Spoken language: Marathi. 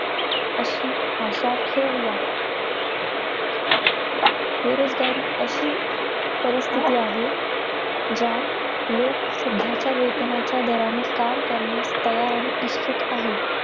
अशी आशा ठेऊया. बेरोजगारी अशी परिस्थिती आहे, ज्यात लोक सध्याच्या वेतनाच्या दराने काम करण्यात तयार आणि इच्छित आहेत.